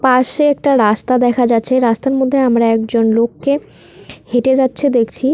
পাশে একটা রাস্তা দেখা যাচ্ছে রাস্তার মধ্যে আমরা একজন লোককে হেঁটে যাচ্ছে দেখছি।